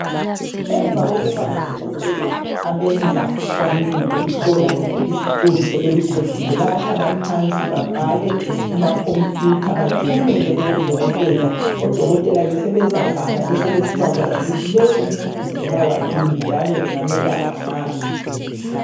Emva kokuba odokotela abenza ucwaningo lokuhlola izicobi sebeluqedile bayahlala phansi babhale kumakhompuyutha bathumele kubo dokotela odokotela ke sebezabala besebesiba kwazi ukuthi lo umuntu ubulawa yini njalo bengamelapha ngani.